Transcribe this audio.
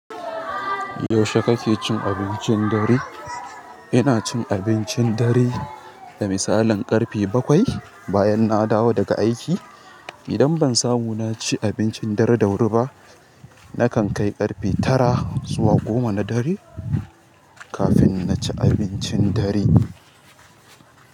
Yaushe kake cin abincin dare? Ina cin abincin dare da misalin ƙarfe bakwai bayan na dawo daga aiki. Idan bansamu naci abincin dare da wuri ba nakan kai ƙarfe tara zuwa goma nadare kafin na ci abincin dare.